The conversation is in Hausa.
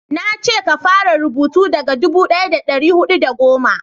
na ce ka fara rubutu daga dubu daya da dari hudu da goma